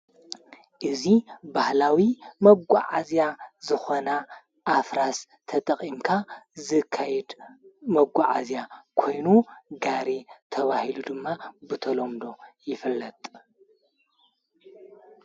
እዙ ባህላዊ መጐዓእዝያ ዝኾና ኣፍራስ ተጠቒምካ ዝካይድ መጕዓእግያ ኮይኑ ጋሬ ተዋሂሉ ድማ ብተሎምዶ ይፍለጥ።